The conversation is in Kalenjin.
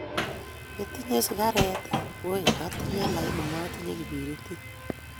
Itinye sigaret ii? "Woi atinye, lakini matinye kiperitit".